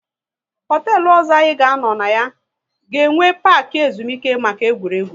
Hotelu ọzọ anyị ga anọ na ya, ga enwe parki ezumike maka egwuregwu